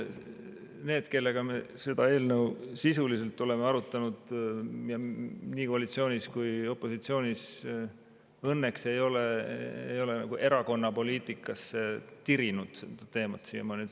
Need, kellega me seda eelnõu sisuliselt oleme arutanud nii koalitsioonis kui opositsioonis, õnneks ei ole erakonna poliitikasse tirinud seda teemat siiamaani.